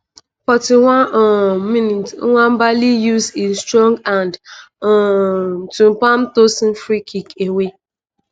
41 um mins - nwabali use e strong hands um to palm tosin freekick away.